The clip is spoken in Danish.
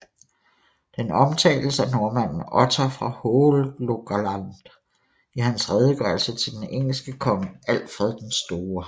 Den omtales af nordmanden Ottar fra Hålogaland i hans redegørelse til den engelske konge Alfred den Store